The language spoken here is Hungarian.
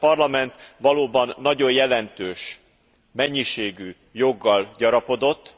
Hiszen a Parlament valóban nagyon jelentős mennyiségű joggal gyarapodott.